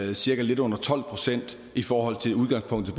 det cirka lidt under tolv procent i forhold til udgangspunktet